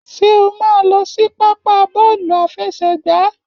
Ṣé o máa lọ sí pápá bọ́ọ̀lù àfẹsẹ̀gbá?